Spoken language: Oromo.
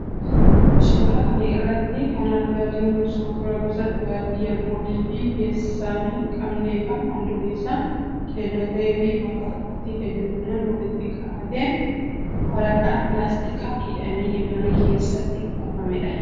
Suuraa kana irraa kan argaa jirru suuraa gosa dhugaatii alkoolii of keessaa hin qabne kan halluun isaa keelloo ta'ee fi bakka tokkotti hedduminaan walitti qabatee waraqaa pilaastikaan hidhamee mana keessa kuufamedha.